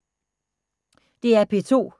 DR P2